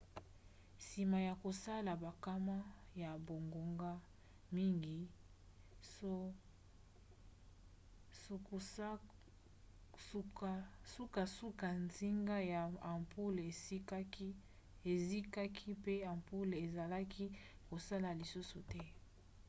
nsima ya kosala bankama ya bangonga mingi sukasuka nsinga ya ampule ezikaki mpe ampule ezalaki kosala lisusu te